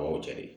A y'o cɛ de ye